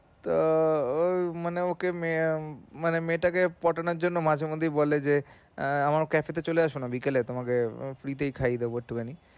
তো মানে ওকে মানে মেয়েটাকে পটানোর জন্যে মাঝে মধ্যেই বলে যে আমার cafe তে চলে আসোনা বিকেলে তোমাকে free তে খাইয়ে দেবো এক্টুখানি।